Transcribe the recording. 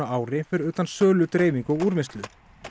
ári fyrir utan sölu dreifingu og úrvinnslu